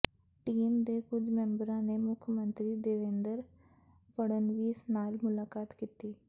team ਦੇ ਕੁਝ ਮੈਂਬਰਾਂ ਨੇ ਮੁੱਖ ਮੰਤਰੀ ਦੇਵੇਂਦਰ ਫ਼ੜਨਵੀਸ ਨਾਲ ਮੁਲਾਕਾਤ ਕੀਤੀ